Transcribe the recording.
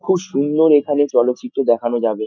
খুব সুন্দর এখানে চলচিত্র দেখানো যাবে ।